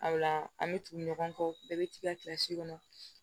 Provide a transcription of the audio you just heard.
A la an bɛ tugu ɲɔgɔn kɔ bɛɛ bɛ t'i ka kilasi kɔnɔ